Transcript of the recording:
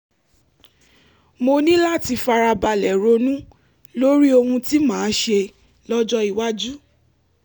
mo ní láti fara balẹ̀ ronú lórí ohun tí màá ṣe lọ́jọ́ iwájú